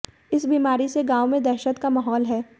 इस बीमारी से गांव में दहशत का माहौल है